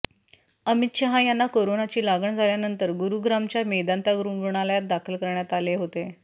अमित शहा यांना कोरोनाची लागण झाल्यानंतर गुरुग्रामच्या मेदांता रुग्णालयात दाखल करण्यात आले होते